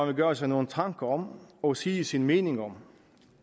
vil gøre sig nogle tanker om og sige sin mening om